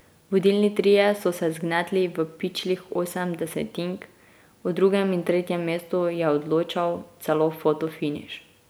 Vodilni trije so se zgnetli v pičlih osem desetink, o drugem in tretjem mestu je odločal celo fotofiniš.